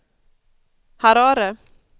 Harare